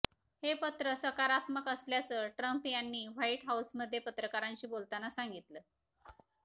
हे पत्र सकारात्मक असल्याचं ट्रंप यांनी व्हाईट हाऊसमध्ये पत्रकारांशी बोलताना सांगितलं